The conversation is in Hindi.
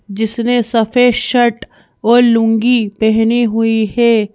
जिसने सफेद शर्ट और लूंगी पहनी हुई है।